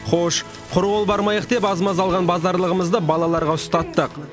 хош құр қол бармайық деп аз маз алған базарлығымызды балаларға ұстаттық